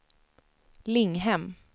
Linghem